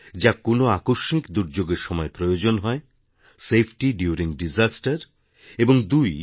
যা কোনও আকস্মিক দুর্যোগের সময় প্রয়োজন হয় সেফটাইডিউরিং দিশাস্তের এবং দুই